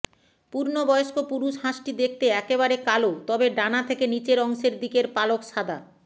পূর্ণ বয়স্ক পুরুষ হাঁসটি দেখতে একেবারে কালো তবে ডানা থেকে নিচের অংশের দিকের পালক সাদা